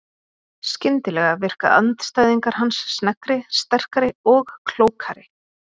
Skyndilega virka andstæðingar hans sneggri, sterkari og klókari.